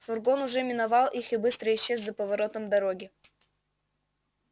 фургон уже миновал их и быстро исчез за поворотом дороги